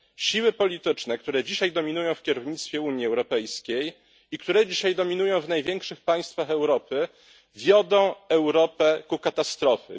Siły polityczne, które dzisiaj dominują w kierownictwie Unii Europejskiej i które dzisiaj dominują w największych państwach Europy, wiodą Europę ku katastrofie.